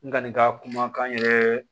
N kɔni ka kumakan n yɛrɛ